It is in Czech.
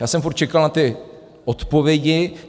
Já jsem furt čekal na ty odpovědi.